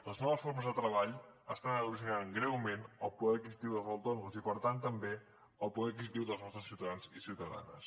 les noves formes de treball estan erosionant greument el poder adquisitiu dels autònoms i per tant també el poder adquisitiu dels nostres ciutadans i ciutadanes